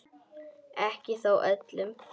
Ekki þó öllum.